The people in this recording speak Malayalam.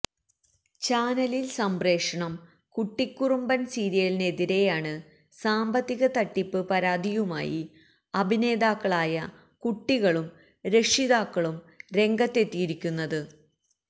ചാനലിൽ സംപ്രേഷണം കുട്ടികുറുമ്പൻ സീരിയലിനെതിരെയാണ് സാമ്പത്തിക തട്ടിപ്പ് പരാതിയുമായി അഭിനേതാക്കളായ കുട്ടികളും രക്ഷിതാക്കളും രംഗത്തെത്തിയിരിക്കുന